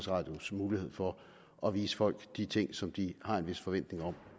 radios mulighed for at vise folk de ting som de har en vis forventning om